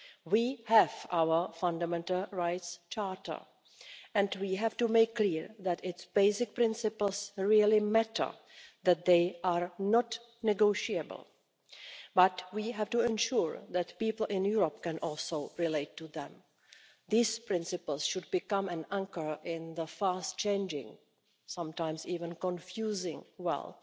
We have our Charter of Fundamental Rights and we have to make clear that its basic principles really matter that they are not negotiable. But we have to ensure that people in Europe can also relate to them. These principles should become an anchor in the fast changing and sometimes confusing world.